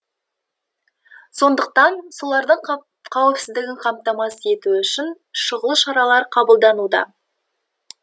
сондықтан солардың қауіпсіздігін қамтамасыз ету үшін шұғыл шаралар қабылдануда